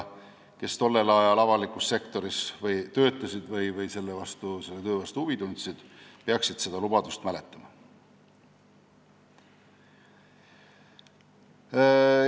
Kes tollel ajal avalikus sektoris töötasid või selle töö vastu huvi tundsid, peaksid seda lubadust mäletama.